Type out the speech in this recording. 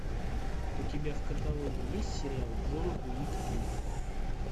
у тебя в каталоге есть сериал джон уик три